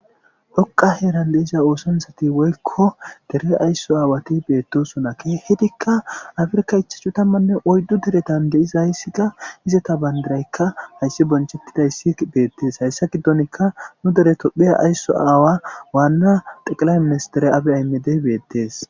dhoqa heeran deisa oosonsati woykko dere aysso aawati beettosona kehidikka afrka ichachchu tammanne oyddu deretan de7izayssi ga izata bayndiraykka hayssi bonchettidayssi beettees hayssa giddonka nu dere tophiya aysso aawa waanna xeqilaymmesdere abe aymedey beettees